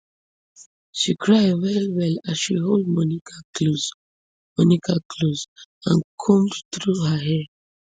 she cry wellwell as she hold monica close monica close and comb through her hair